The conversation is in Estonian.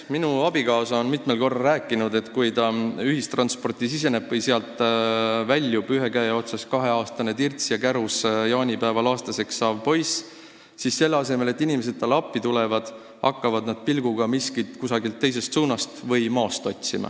Minu abikaasa on mitmel korral rääkinud, et kui ta ühistransporti siseneb või sealt väljub, ühe käe otsas kahe-aastane tirts ja kärus jaanipäeval aastaseks saav poiss, siis selle asemel, et inimesed talle appi tuleksid, hakkavad nad pilguga miskit kusagilt teisest suunast või maast otsima.